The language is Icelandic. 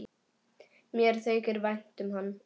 Mér þykir vænt um hann.